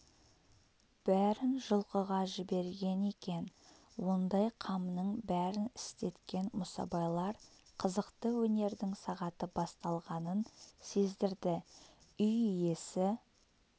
бәрін жылқыға жіберген екен ондай қамның бәрін істеткен мұсабайлар қызықты өнердің сағаты басталғанын сездірді үй иесі